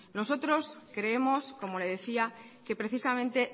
nosotros creemos como le decía que precisamente